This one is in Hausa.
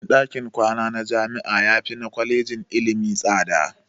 Kuɗin ɗakin kwana na jami'a yafi na kwalejin ilimi tsada.